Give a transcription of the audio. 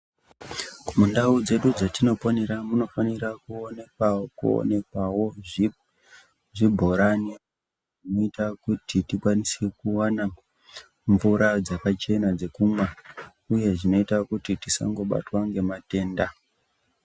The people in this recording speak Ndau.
Mundau dzedu dzetinoponera munofanira kuonekawo zvibhorani zvinoita kuti tikwanise kuwana mvura dzakachena dzekumwa, uye zvinoita kuti tisangobatwa ngematenda.